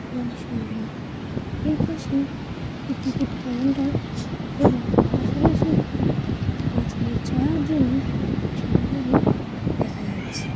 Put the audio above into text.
খুবই সুন্দরএ পাশেএকটি টিকিট কাউন্টার এবং আসে পশে একটিবাচ্চা দের চড়ার জন্যট্রেন গাড়ি দেখা যাচ্ছে ।